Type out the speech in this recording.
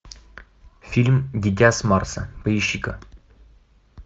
фильм дитя с марса поищи ка